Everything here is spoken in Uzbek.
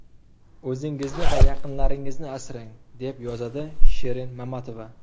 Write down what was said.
O‘zingizni va yaqinlaringizni asrang”, deb yozadi Shirin Mamatova.